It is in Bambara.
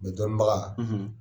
Nin dɔɔni baga;